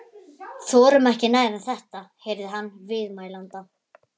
. þorum ekki nær en þetta- heyrði hann viðmælanda